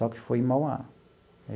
Só que foi em Mauá.